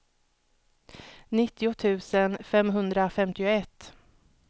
nittio tusen femhundrafemtioett